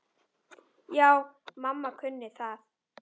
Já, mamma kunni það.